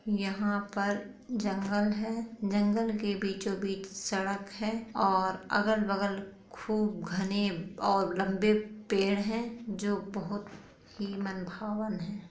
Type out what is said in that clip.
यहाँ पर जंगल है जंगल के बीचो बीच सड़क है और अलग बगल खूब घने और लम्बे पड़े है जो बहुत ही मन भावन हैं।